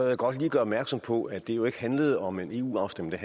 jeg godt lige gøre opmærksom på at det jo ikke handlede om en eu afstemning